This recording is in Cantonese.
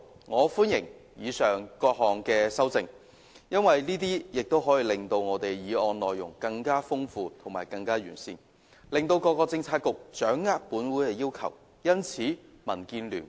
我歡迎以上各項修正案，因為它們可以令我的原議案內容更豐富和完善，從而讓各政策局掌握本會的要求。